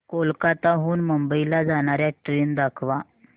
कोलकाता हून मुंबई ला जाणार्या ट्रेन दाखवा